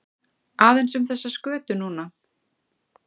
Aðeins um þessa skötu núna?